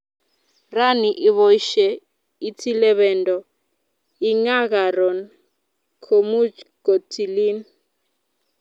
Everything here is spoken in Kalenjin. rani iboishe itilee bendo ingaa karon komuch kotilin